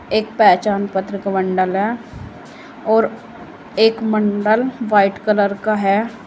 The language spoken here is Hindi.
एक पहचान पत्र का बंडल है और एक बंडल वाइट कलर का है।